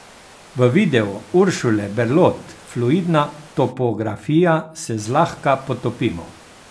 V video Uršule Berlot Fluidna topografija se zlahka potopimo.